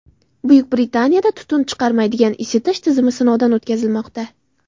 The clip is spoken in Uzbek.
Buyuk Britaniyada tutun chiqarmaydigan isitish tizimi sinovdan o‘tkazilmoqda.